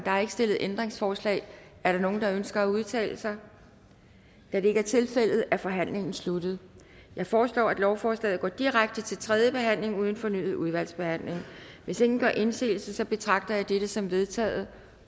er ikke stillet ændringsforslag er der nogen der ønsker at udtale sig da det ikke er tilfældet er forhandlingen sluttet jeg foreslår at lovforslaget går direkte til tredje behandling uden fornyet udvalgsbehandling hvis ingen gør indsigelse betragter jeg dette som vedtaget